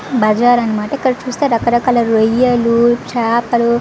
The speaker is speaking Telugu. బజార్ అనమాట ఇక్కడ చూస్తే రకరకల రోయల్లు చాపల్లు --